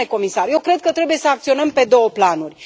Domnule comisar, eu cred că trebuie să acționăm pe două planuri.